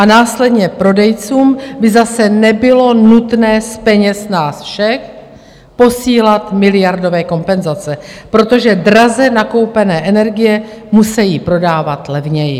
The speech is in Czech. A následně prodejcům by zase nebylo nutné z peněz nás všech posílat miliardové kompenzace, protože draze nakoupené energie musejí prodávat levněji.